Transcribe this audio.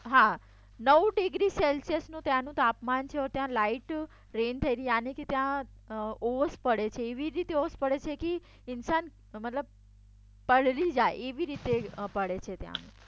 હા નવ ડિગ્રી સેલ્સિયસનું છે ત્યાંનું તાપમાન છે ત્યાં લાઇટ રેઈન થઈ યાનીકે ત્યાં ઓશ પડે છે એવી રીતે ઓશ પડે છે મતલબ ઇન્સાન પલડી જાય